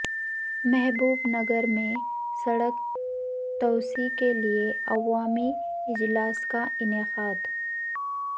محبوب نگر میں سڑک توسیع کیلئے عوامی اجلاس کا انعقاد